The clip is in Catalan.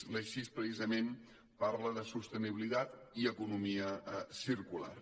l’eix sis precisament parla de sostenibilitat i economia circular